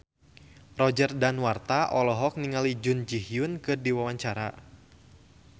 Roger Danuarta olohok ningali Jun Ji Hyun keur diwawancara